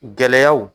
Gɛlɛyaw